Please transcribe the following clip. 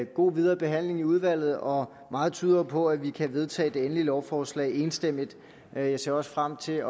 god videre behandling i udvalget og meget tyder jo på at vi kan vedtage det endelige lovforslag enstemmigt jeg ser også frem til